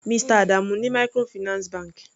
Mr Adamu ní microfinance bank.